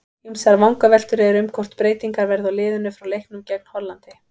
Ýmsar vangaveltur eru um hvort breytingar verði á liðinu frá leiknum gegn Hollandi.